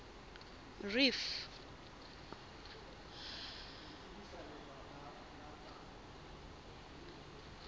reef